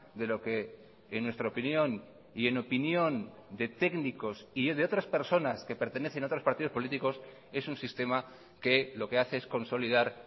de lo que en nuestra opinión y en opinión de técnicos y de otras personas que pertenecen a otros partidos políticos es un sistema que lo que hace es consolidar